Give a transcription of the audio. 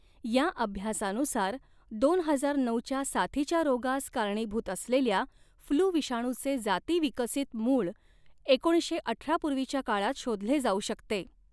या अभ्यासानुसार, दोन हजार नऊच्या साथीच्या रोगास कारणीभूत असलेल्या फ्लू विषाणूचे जातीविकसित मूळ एकोणीसशे अठरा पूर्वीच्या काळात शोधले जाऊ शकते.